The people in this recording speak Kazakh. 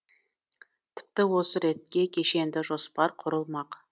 тіпті осы ретте кешенді жоспар құрылмақ